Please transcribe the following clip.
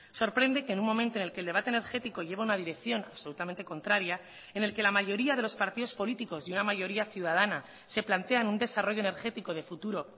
sorprende que en un momento en el que el debate energético lleva una dirección absolutamente contraria en el que la mayoría de los partidos políticos y una mayoría ciudadana se plantean un desarrollo energético de futuro